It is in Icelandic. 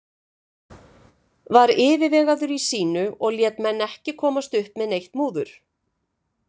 Var yfirvegaður í sínu og lét menn ekki komast upp með neitt múður.